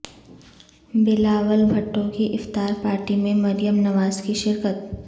بلاول بھٹو کی افطار پارٹی میں مریم نواز کی شرکت